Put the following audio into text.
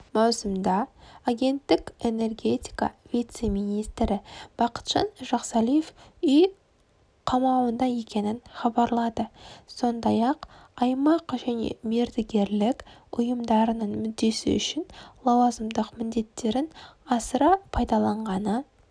маусымда агенттік энергетика вице-министрі бақытжан жақсалиев үй қауамында екенін хабарлады сондай-ақ аймақ және мердігерлік ұйымдарының мүддесі үшін лауазымдық міндеттерін асыра пайдаланғаны